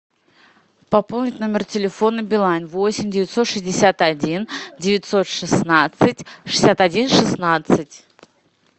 пополнить номер телефона билайн восемь девятьсот шестьдесят один девятьсот шестнадцать шестьдесят один шестнадцать